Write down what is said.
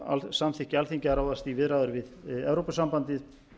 samþykki alþingi að ráðast í viðræður við evrópusambandið